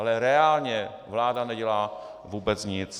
Ale reálně vláda nedělá vůbec nic.